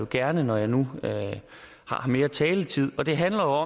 gerne når jeg nu har mere taletid og det handler